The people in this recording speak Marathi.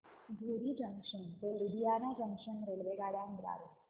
धुरी जंक्शन ते लुधियाना जंक्शन रेल्वेगाड्यां द्वारे